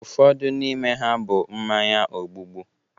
Ụfọdụ n'ime ha bụ mmanya ogbubu